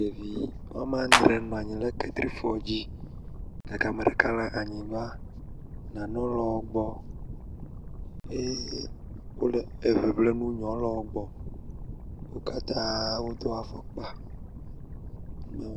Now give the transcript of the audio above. Ɖevi woame adre nɔ anyi ɖe ketrifɔ dzi gake ame ɖeka le anyigba. Nanewo le wo gbɔ eye wole eŋiŋlim wo nɔewo le wo gbɔ. Wo katrã wodo afɔkpa.